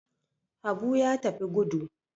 Habu ya tafi gudu.